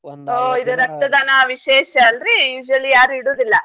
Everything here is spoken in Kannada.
ರಕ್ತದಾನ ವಿಶೇಷ ಅಲ್ರೀ ಯಾರು ಇಡುದಿಲ್ಲ.